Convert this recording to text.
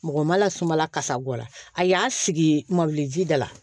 Mɔgɔ ma lasumala kasago la a y'a sigi magɔli ji da la